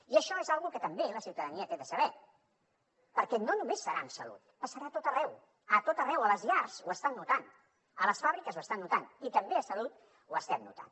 i això és una cosa que també la ciutadania té de saber perquè no només serà en salut passarà a tot arreu a tot arreu a les llars ho estan notant a les fàbriques ho estan notant i també a salut ho estem notant